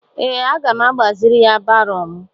Ee, aga m agbaziri ya baro m.